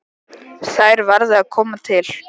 Þær verði að koma til.